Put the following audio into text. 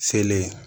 Selen